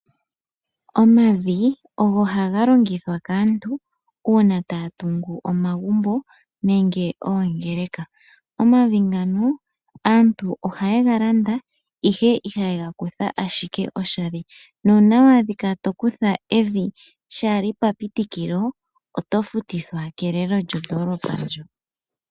Omavi ogo haga longithwa kaantu una taya tungu omagumbo nenge oongerka. Omavi ngano aantu oha ye ga landa, ihe ihaye ga kutha ashike oshali. Nuna wa dhika to kutha evi sha li papitikilo oto futithwa kelelo lyondolopa ndjo.